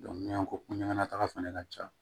n'an yan ko ɲanataga fana ka ca